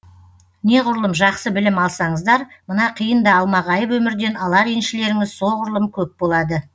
неғұрлым жақсы білім алсаңыздар мына қиын да алмағайып өмірден алар еншілеріңіз соғұрлым көп болады